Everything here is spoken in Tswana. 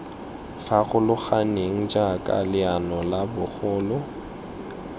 farologaneng jaaka leano la bogole